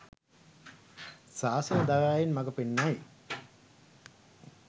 ශාසන දයාවෙන් මග පෙන්වති.